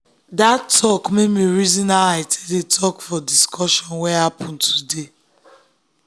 that talk make me me reason how i dey talk for discussion wey happen today.